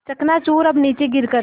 चकनाचूर अब नीचे गिर कर